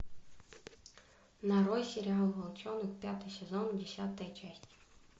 нарой сериал волчонок пятый сезон десятая часть